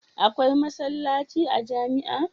Akwai masallaci a jamia